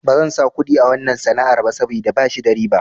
Bazan sa kuɗi a wanna sana'ar ba saboda bashi da riba.